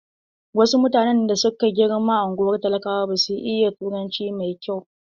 Wasu mutane da suka girma a ungwar talakawa basu iya turanci mai kyau.